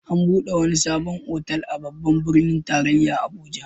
An buɗe wani sabon otal a Babban birnin tarayya Abuja.